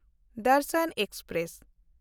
Darshan express